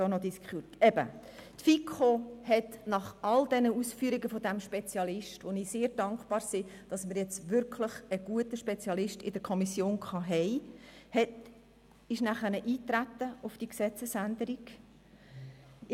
Die FiKo ist nach allen diesen Ausführungen des Spezialisten, für welche wir sehr dankbar sind, auf die Gesetzesänderung eingetreten.